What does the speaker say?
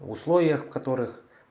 в условиях которых